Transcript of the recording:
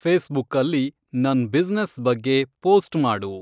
ಫೇಸ್ಬುುಕ್ಕಲ್ಲಿ ನನ್‌ ಬಿಸ್‌ನೆಸ್‌ ಬಗ್ಗೆ ಪೋಸ್ಟ್‌ ಮಾಡು